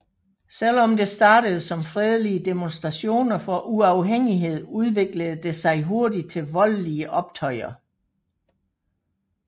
Selvom det startede som fredelige demonstrationer for uafhængighed udviklede det sig hurtigt til voldlige optøjer